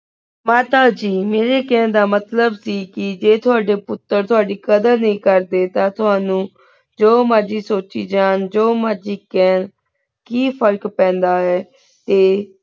ਮਾਤਾ ਜੀ ਮੇਰੀ ਕਹਨ ਦਾ ਮਾਤ੍ਲੇਬ ਆਯ ਕੀ ਜੇਇਯ ਤੁਵਾਦ੍ਯਨ ਪੁਟਰ ਤੁਵਾਦੀ ਕਦਰ ਨੀ ਕਰਦੀ ਤਾਂ ਤੁਵਾਨੁ ਜੋ ਮੇਰਜ਼ੀ ਸੋਚੀ ਜਾਨ ਜੋ ਮੇਰਜ਼ੀ ਕਹਨ ਕੀ ਫ਼ਰਕ ਪੈਂਦਾ ਆਯ ਟੀ